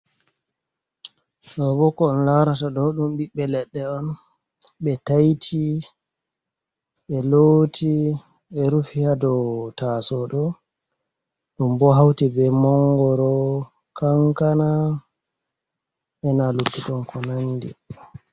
Ɗo bo ko on laarata ɗo ɗum ɓiɓɓe leɗɗe on. Ɓe taiti, ɓe looti, ɓe rufi haa dow taasowo ɗo. Ɗum bo hauti be mongoro, kankana, ena luttuɗum ko nandi.